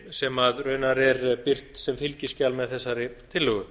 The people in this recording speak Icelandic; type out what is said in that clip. sem raunar er birt sem fylgiskjal með þessari tillögu